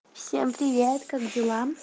всем привет как дела